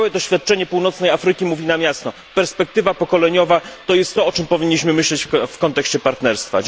Całe doświadczenie północnej Afryki mówi nam jasno perspektywa pokoleniowa to jest to, o czym powinniśmy myśleć w kontekście partnerstwa.